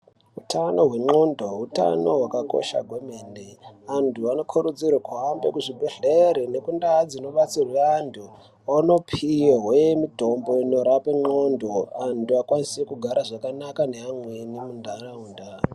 Hutano hwendxonxo hutano hwakakosha kwemene antu anokurudzirwa kuhambe kuzvibhedhlera nekundaa dzinodetserwa antu vaone kupihwa mitombo inorapa ndxondo antu akwanise kugara zvakanaka neamweni mundaraunda.